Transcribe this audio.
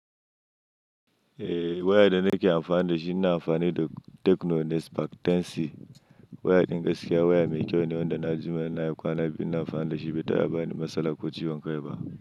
Eh waya da nake amfani da shi ina amfani da Techno Spark 10C. Waya ingaskiya, waya mai kyau ne wanda na ji mana yana kwana, ina amfani da shi bai ta'aba yi ni matsala ko ciwon kai ba.